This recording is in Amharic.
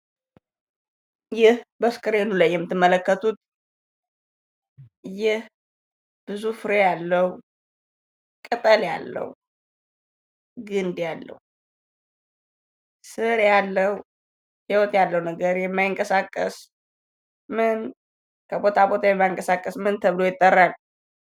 ይህ በስክሪኑ ላይ የምትመለከቱት ይህ ብዙ ፍሬ ያለው ቅጠል ያለው ግንድ ያለው ስር ያለው ህይወት ያለው ነገር የማይንቀሳቀስ የማይንቀሳቀስ ከቦታ ቦታ ማንቀሳቀስ ምን ተብሎ ይጠራል?